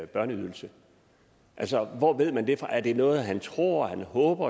børneydelse altså hvor ved man det fra er det noget han tror han håber